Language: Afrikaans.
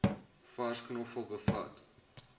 vars knoffel bevat